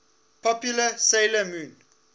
popular 'sailor moon